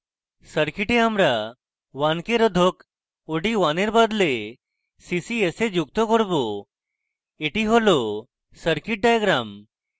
circuit আমরা 1k রোধক od1 in বদলে ccs we যুক্ত করব এটি হল circuit diagram